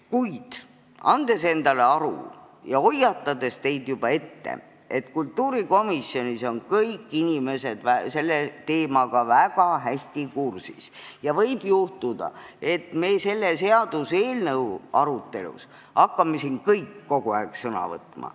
Kuid ma annan endale aru ja hoiatan teid juba ette, et kultuurikomisjonis on kõik inimesed selle teemaga väga hästi kursis ja võib juhtuda, et me selle seaduseelnõu arutelul hakkame siin kõik kogu aeg sõna võtma.